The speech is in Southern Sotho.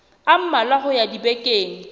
a mmalwa ho ya dibekeng